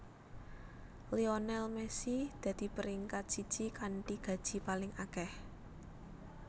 Lionel Messi dadi peringkat siji kanthi gaji paling akeh